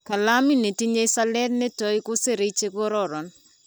Kalamit nitinyei salet nitoi kuserei chikororon.